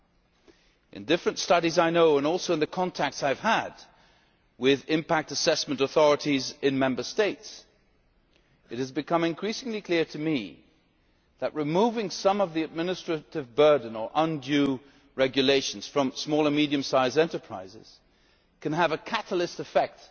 From various studies I know of, and also through the contacts I have had with impact assessment authorities in Member States, it is increasingly clear to me that removing some of the administrative burden or undue regulation from small and medium sized enterprises can have a catalytic effect